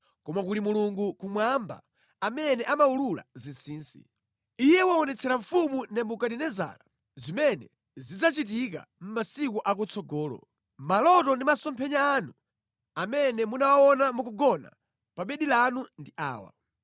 koma kuli Mulungu kumwamba amene amawulula zinsinsi. Iye waonetsera mfumu Nebukadinezara zimene zidzachitika mʼmasiku akutsogolo. Maloto ndi masomphenya anu amene munawaona mukugona pa bedi lanu ndi awa: